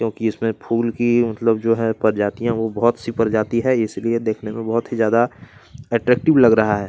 क्योंकि इसमें फूल की मतलब जो है प्रजातियां वो बहुत सी प्रजातियां है इसलिए देखने में बहुत ही ज्यादा अट्रैक्टिव लग रहा है।